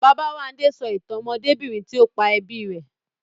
Babáwándé sọ ìtàn ọmọdébìnrin tí ó pa ẹbí rẹ̀